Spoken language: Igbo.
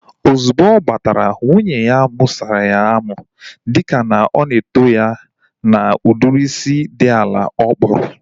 Ozugbo ọ batara, nwunye ya musara ya amu dịka ọ na eto ya na udiri isi dị ala ọ kpụrụ